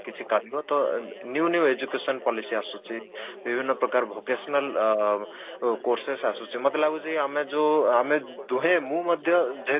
କିଛି କରିବ ତ new new education policy ଆସୁଛି ବିଭିନ୍ନ ପ୍ରକାର vocational ଚୋୖର୍ଶେସ ଆସୁଛି ମତେ ଲାଗୁଛି ଆମେ ଯୋଉ ଆମେ ଦୁହେଁ ମୁଁ ମଧ୍ୟ ଯେହେତୁ